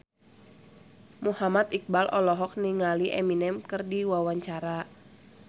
Muhammad Iqbal olohok ningali Eminem keur diwawancara